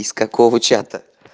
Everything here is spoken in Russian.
из какого чата